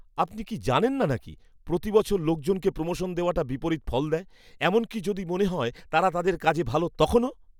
আপনি কি জানেন না নাকি প্রতি বছর লোকজনকে প্রোমোশন দেওয়াটা বিপরীত ফল দেয়, এমনকি যদি মনে হয় তারা তাদের কাজে ভাল, তখনও!